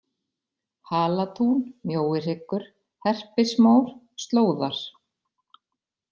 Halatún, Mjóihryggur, Herpismór, Slóðar